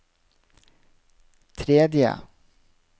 tredje